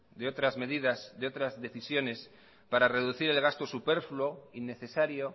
de otras medidas de otras decisiones para reducir el gasto superfluo innecesario